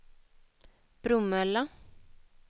Bromölla